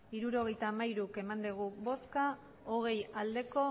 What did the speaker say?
hirurogeita hamairu bai hogei ez